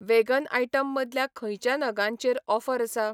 Vegan item मदल्या खंयच्या नगांचेरऑफर आसा?